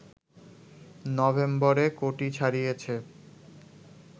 নভেম্বরে কোটি ছাড়িয়েছে